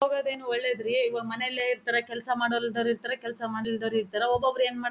ಹೋಗೋದೇನು ಒಳ್ಳೇದ್ ರೀ ಇವಾಗ ಮನೇಲೆ ಇರ್ತಾರೆ ಕೆಲಸ ಮಾಡವರು ಇರ್ತಾರೆ ಕೆಲಸ ಮಾಡ್ಲಿಲ್ದವರು ಇರ್ತಾರೆ ಒಬ್ಬೊಬ್ರು ಏನ್ ಮಾಡ್ತಾರೆ--